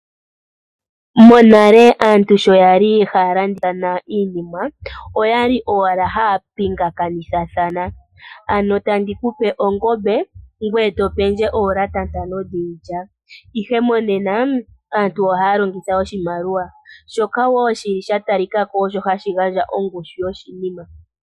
Monale aantu sho yali haya landa iinima oyali owala haya pingakanithathana. Ano to gandja ongombe ngoye to pewa oolata ntano dhiilya. Ihe monena aantu oha ya longitha oshimaliwa shoka wo sha talika ko osho hashi gandja ongushu yoshinima.